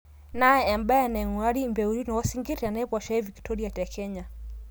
naa ebae naingurari impeutin oo sinkir te naiposha e victoria te kenya